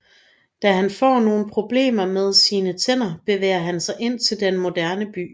Da han får nogle problemer med sine tænder bevæger han sig ind til den moderne by